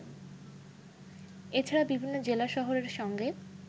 এছাড়া বিভিন্ন জেলা শহরের সঙ্গে